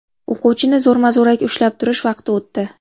O‘quvchini zo‘rma-zo‘raki ushlab turish vaqti o‘tdi.